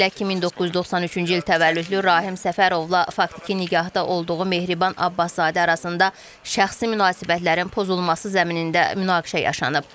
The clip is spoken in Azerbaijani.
Belə ki, 1993-cü il təvəllüdlü Rahim Səfərovla faktiki nigahda olduğu Mehriban Abbaszadə arasında şəxsi münasibətlərin pozulması zəminində münaqişə yaşanıb.